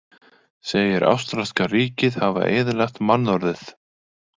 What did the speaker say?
Segir ástralska ríkið hafa eyðilagt mannorðið